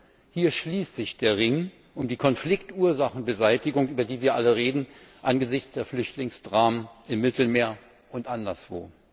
Und Hier schließt sich der Ring um die Konfliktursachenbeseitigung, über die wir alle reden, angesichts der Flüchtlingsdramen im Mittelmeer und anderswo.